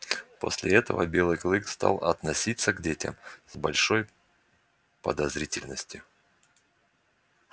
после этого белый клык стал относиться к детям с большой подозрительностью